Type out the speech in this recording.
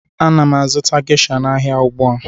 Ana m azụta Gesha n'ahịa ugbu a